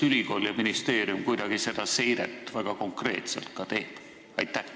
Kas ülikool ja ministeerium teevad sellist seiret väga konkreetselt?